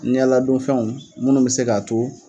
Ɲɛ ladonfɛnw ye minnu bɛ se k'a to